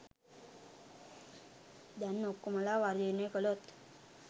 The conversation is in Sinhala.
දැන් ඔක්කොමලා වර්ජනය කලොත්